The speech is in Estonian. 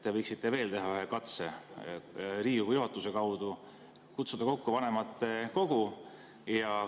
Te võiksite teha veel ühe katse Riigikogu juhatuse kaudu kutsuda kokku vanematekogu.